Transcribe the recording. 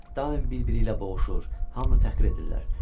Daim bir-biri ilə boğuşur, hamını təhqir edirlər.